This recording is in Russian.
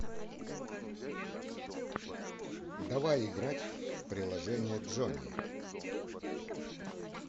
давай играть в приложение джони